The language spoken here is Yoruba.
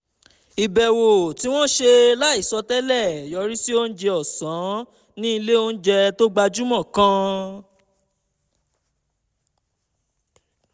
ìbẹ̀wò tí ó ṣe láìsọ tẹ́lẹ̀ yọrí sí oúnjẹ ọ̀sán ní ilé-oúnjẹ tó gbajúmọ̀ kan